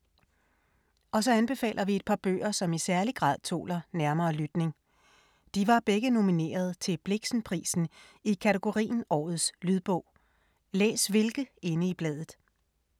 Og så anbefaler vi et par bøger, som i særlig grad tåler nærmere lytning. De var begge nomineret til Blixenprisen i kategorien Årets lydbog. Læs hvilke inde i bladet.